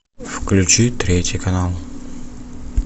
включи третий канал